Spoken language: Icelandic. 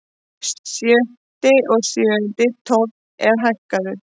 Sjötti og sjöundi tónn er hækkaður.